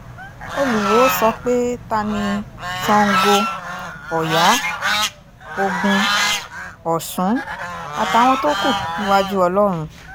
olùwọ́ọ́ sọ pé ta ni sango ọ̀yá ogun ọ̀sùn àtàwọn tó kù níwájú ọlọ́run